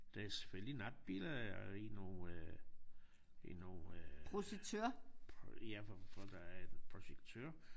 Det selvfølgelig natbillede i nogle i nogle ja hvor hvor der er en projektør